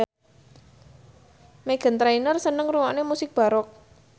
Meghan Trainor seneng ngrungokne musik baroque